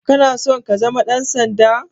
Kana son ka zama ɗansanda?